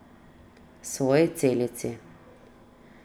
Svoji celici.